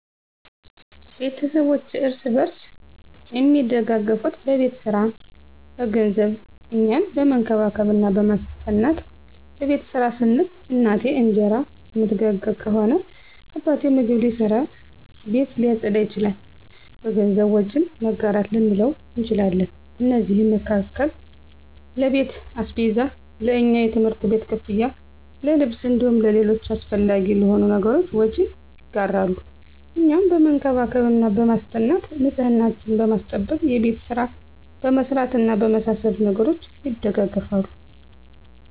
ቤተስቦቼ እርስ በርስ አሚደጋገፋት በቤት ሰራ፣ በገንዘብ፣ እኛን በመንከባከብ እና በማስጠናት። በቤት ስራ ስንል፦ እናቴ እንጀራ እምትጋግር ከሆነ አባቴ ምግብ ሊሰራ፣ ቤት ሊያፀዳ ይችላል። በገንዘብ፦ ወጪን መጋራት ልንለው እንችላለን። ከነዚህም መካከል ለቤት አስቤዛ፣ ለእኛ የትምህርት ቤት ክፍያ፣ ለልብስ እንዲሁም ለሌሎች አሰፈላጊ ለሆኑ ነገሮች ወጪን ይጋራሉ። እኛን በመንከባከብ እና በማስጠናት፦ ንፅህናችንን በማስጠበቅ፣ የቤት ስራ በማሰራት እና በመሳሰሉት ነገሮች ይደጋገፋሉ።